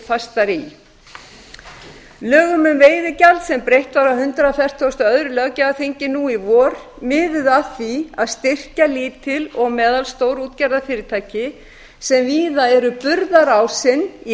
fastar í lögum um veiðigjald sem breytt var á hundrað fertugasta og öðrum löggjafarþingi nú í vor miðuðu að því að styrkja lítil og meðalstór útgerðarfyrirtæki sem víða eru burðarásinn í